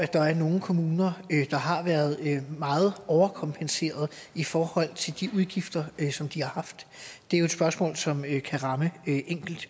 der er nogle kommuner der har været meget overkompenseret i forhold til de udgifter som de har haft det er jo et spørgsmål som kan ramme